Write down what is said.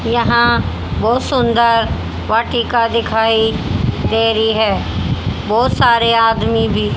यहां बहोत सुंदर वाटिका दिखाई दे रही है बहोत सारे आदमी भी--